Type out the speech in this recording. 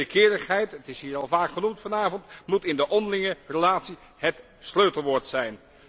Wederkerigheid dat is hier al vaak genoemd vanavond moet in de onderlinge relatie het sleutelwoord zijn.